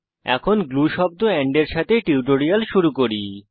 এখন গ্লু শব্দ এন্ড এর সাথে টিউটোরিয়াল শুরু করি